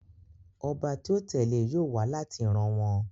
Ọba tí ó tẹ̀lé e yóò wá láti ìran wọn